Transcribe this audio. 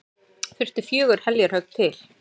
Þurfti fjögur heljarhögg til.